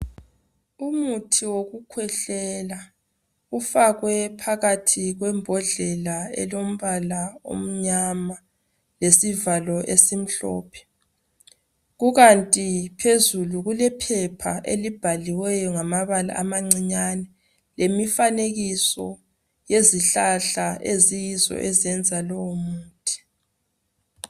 Umuthi wokukhwehlela ufakwe phakathi kwembodlela elombala omnyama lesivalo esimhlophe kukanti phezulu kulephepha elibhaliweyo ngamabala amancinyane lemifanekiso yezihlahla eziyizo ezenza lowomuthi